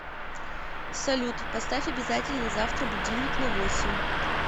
салют поставь обязательно завтра будильник на восемь